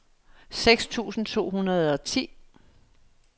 seks tusind to hundrede og ti